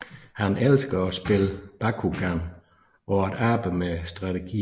Han elsker at spille Bakugan og at arbejde på strategier